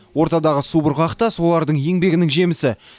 ортадағы субұрқақ та солардың еңбегінің жемісі